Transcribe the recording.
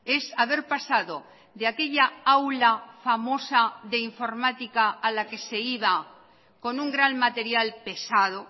es haber pasado de aquella aula famosa de informática a la que se iba con un gran material pesado